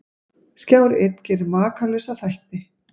Skjár einn gerir Makalausa þætti